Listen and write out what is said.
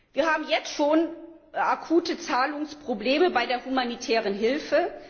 Wir haben jetzt schon akute Zahlungsprobleme bei der humanitären Hilfe.